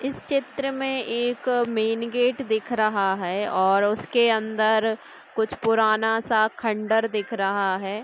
इस चित्र मे एक मेंन गेट दिख रहा हैं और उसके अंदर कुछ पुराना सा खंडर दिख रहा हैं ।